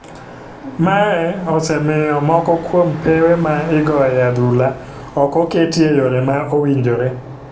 Mae osemiyo moko kuom pewe ma igoye adhula ok oketi e yore ma owinjore.